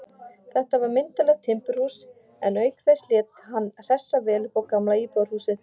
Þetta var myndarlegt timburhús, en auk þess lét hann hressa vel upp á gamla íbúðarhúsið.